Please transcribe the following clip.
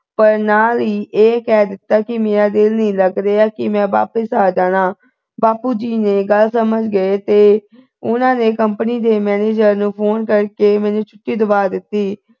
ਪਰ ਨਾਲ ਹੀ ਇਹ ਕਹਿ ਦਿੱਤਾ ਕਿ ਮੇਰਾ ਦਿਲ ਨਹੀ ਲੱਗ ਰਿਹਾ ਮੈਂ ਵਾਪਿਸ ਆ ਜਾਣਾ ਬਾਪੂ ਜੀ ਨੇ ਗੱਲ ਸਮਝ ਗਈ ਤੇ ਉਨ੍ਹਾਂ ਨੇ company ਦੇ manager ਨੂੰ phone ਕਰਕੇ ਮੈਨੂੰ ਛੁੱਟੀ ਦਵਾ ਦਿਤੀ